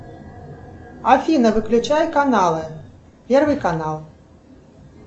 афина выключай каналы первый канал